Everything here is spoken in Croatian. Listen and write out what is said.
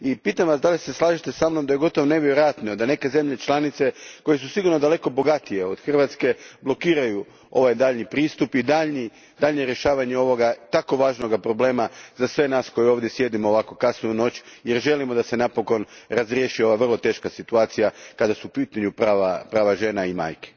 Pitam vas da li se slažete sa mnom da je gotovo nevjerojatno da neke zemlje članice koje su sigurno daleko bogatije od Hrvatske blokiraju daljnji pristup i daljnje riješavanje ovog vrlo važnog problema za sve nas koji ovdje sjedimo kasno u noć, jer želimo da se napokon razriješi ova vrlo teška situacija kada su u pitanju prava žena i majki?